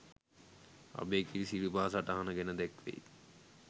අභයගිරි සිරිපා සටහන ගැන දැක්වෙයි.